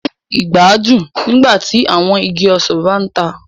O jẹ igbadun nígbàtí awọn ìgi ọsan ba ntàn.